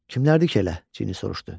Kimlərdir ki elə?" Cini soruşdu.